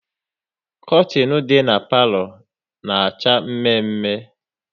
Kortin dị n'palo na acha mme mme